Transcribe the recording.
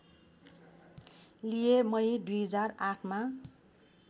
लिए मई २००८ मा